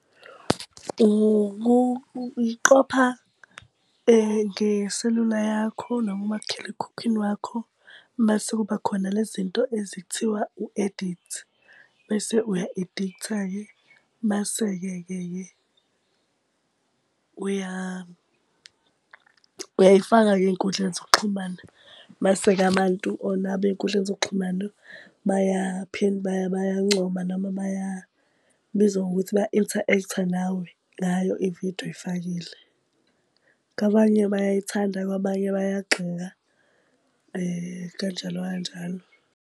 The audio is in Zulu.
Ukuqopha ngeselula yakho noma umakhalekhukhwini wakho, mase kuba khona le zinto lezi ekuthiwa u-edikthi, bese uya-ediktha-ke. Bese-ke ke ke uyayifaka-ke ey'nkundleni zokuxhumana. Mase-ke abantu onabo ey'nkundleni zokuxhumana bayancoma, noma baya, kubizwa ngokuthi baya-interact-a nawe ngayo ividiyo oyifakile. Kwabanye bayayithanda kwabanye bayagxeka, kanjalo kanjalo.